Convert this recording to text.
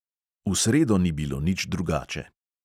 V sredo ni bilo nič drugače.